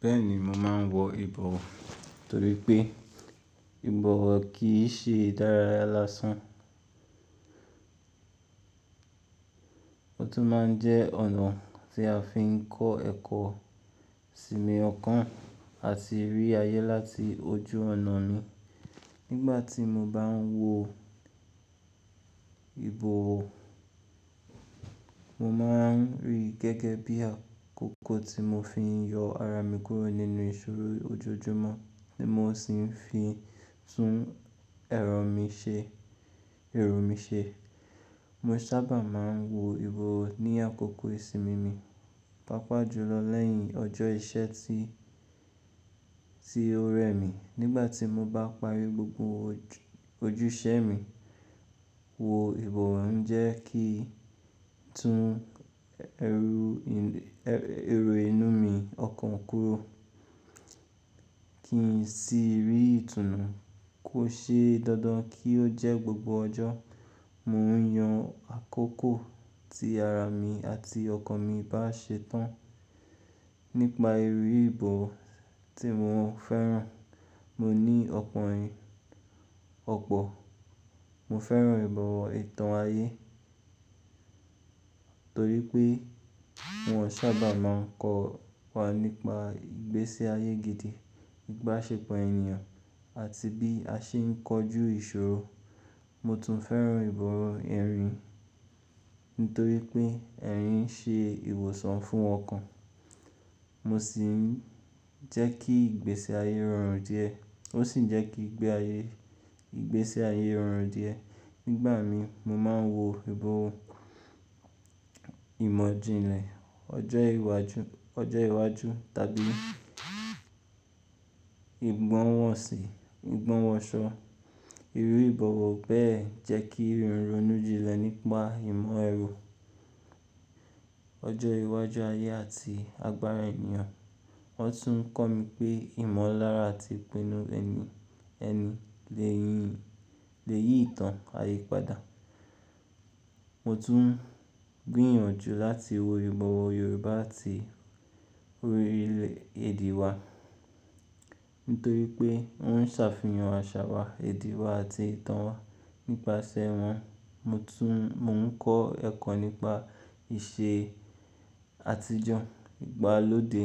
Bẹ́ẹ̀ni, mo máa ń wo ìbọ̀wọ̀ torí pé ìbọ̀wọ̀ kì í ṣe ìdáráyásán, ó tún máa ń jẹ́ ọ̀nà tí a fi ń kọ́ ẹ̀kọ́, sinmi ọ̀kan àti rí ayé láti ojú ọ̀nà mi. Nígbà tí mo bá ń wo ìbọ̀wọ̀, mo máa ń rí i gẹ́gẹ́ bí àkókò tí mo fi ń yọ ara mi kúrò nínú ìṣòro ojoojúmọ́ tí mo sì ń fi tún ẹrọ mi ṣe, èrò mi ṣe. Mo sábà máa ń wo ìbọ̀wọ̀ ní àkókò ìsinmi mi, pàápàá jùlọ̀ lẹ́yìn ọjọ́ iṣẹ́ tí, tí ó rẹ mi. Nígbà tí mo bá parí gbogbo ojúṣẹ́ mi, wo ìbọ̀wọ̀ ń jẹ́ kí n tún ẹrú, ẹrú inú mi ọkàn kúrò kí n sì rí ìtùnú. Kò ṣeé dandan kí ó jẹ́ gbogbo ọjọ́. Mo ń yan àkókò tí ara mi àti ọkàn mi bá ṣe tán. Nípa irú ìbọ̀wọ̀ tí mo fẹ́ràn, mo ní ọ̀pọ̀ ẹ̀yin, ọ̀pọ̀. Mo fẹ́ràn ìbọ̀wọ̀ ìtàn ayé torí pé wọ́n sábà máa ń kọ́ wa nípa ìgbésí ayé gidi, ìbásẹpọ̀ ènìyàn àti bí a ṣe ń kojú ìṣòro. Mo tún fẹ́ràn ìbọ̀wọ̀ ẹ̀rín nítorí pé ẹ̀rín ṣe ìwòsàn fún ọkàn. Mo sì ń jẹ́ kí ìgbésí ayé rọrùn díẹ̀. Ó sì ń jẹ́ kí ìgbésí ayé rọrùn díẹ̀. Nígbà mi, mo máa ń wo ìbọ̀wọ̀ ìmọ̀ ìjìnlẹ̀, ọjọ́ iwájú, ọjọ́ iwájú tàbí ìgbọ́hùnsọ. Irú ìbọ̀wọ̀ bẹ́ẹ̀ jẹ́ kí ń ronú jinlẹ̀ nípa ìmọ̀ ẹ̀rọ, ọjọ́ iwájú ayé àti agbára ènìyàn. Wọ́n tún ń kọ́ mi pé ìmọ̀lára àti ìpinnu ẹni, ẹni lè yí ìtàn ayé padà. Mo tún gbìyànjú láti wo ìbọ̀wọ̀ Yorùbá àti orílẹ̀-èdè wa nítorí pé ó ń ṣàfihàn àṣà wa, èdè wa àti ìtàn wa. Nípasẹ̀ wọ́n, mo tún, mo ń kọ́ ẹ̀kọ́ nípa ìṣe àtijọ́, ìgbàlódé